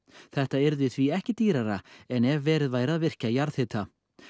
þetta yrði því ekki dýrara en ef verið væri að virkja jarðhita